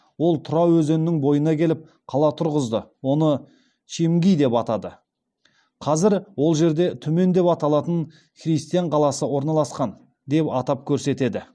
ол тұра өзенінің бойына келіп қала тұрғызды оны чимгий деп атады қазір ол жерде түмен деп аталатын христиан қаласы орналасқан деп атап көрсетеді